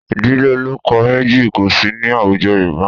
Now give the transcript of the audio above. Ìdílé ọlọ́kọ méjì kò sí ní àwùjọ Yorùbá